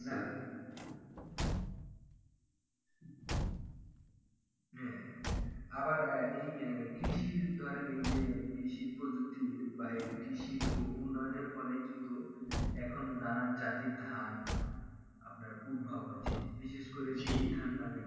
হ্যাঁ আবার আহ কৃষির ধরেন এই যে কৃষির প্রজুক্তি বা উন্নয়ন এর ফলে কিন্তু এখন নানান জাতের ধান আপনার উদ্ভাব হয়েছে বিশেষ করে জিলি ধান নাম একটি